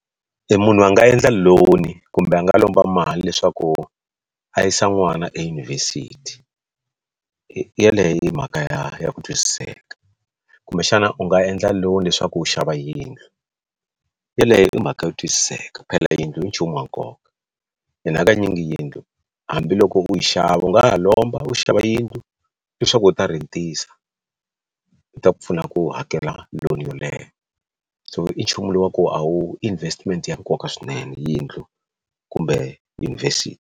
Munhu a nga endla loan kumbe a nga lomba mali leswaku a yisa n'wana eyunivhesiti yeleyo i mhaka ya ku twisiseka kumbexana u nga endla lawn leswaku u xava yindlu yeleyo i mhaka yo twisiseka phela yindlu i nchumu wa nkoka and hakanyingi yindlu hambiloko u yi xava u nga ha lomba u xava yindlu leswaku u ta rhentisa u ta ku pfuna ku hakela loan yoleyo so i nchumu lowu wa ku a wu investment ya nkoka swinene yindlu kumbe yunivhesiti.